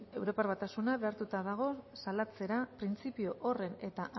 europar batasuna behartuta dago salatzera printzipio horren eta